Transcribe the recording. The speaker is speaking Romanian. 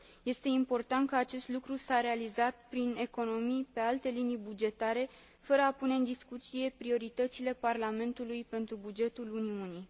Este important că acest lucru s a realizat prin economii pe alte linii bugetare, fără a pune în discuție prioritățile Parlamentului pentru bugetul Uniunii.